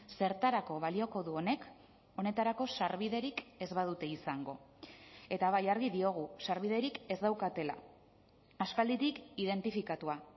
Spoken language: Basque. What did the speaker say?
zertarako balioko du honek honetarako sarbiderik ez badute izango eta bai argi diogu sarbiderik ez daukatela aspalditik identifikatua